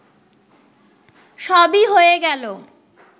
সবই হয়ে গেল